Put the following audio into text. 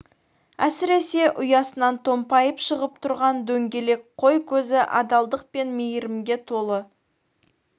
әсіресе ұясынан томпайып шығып тұрған дөңгелек қой көзі адалдық пен мейірімге толы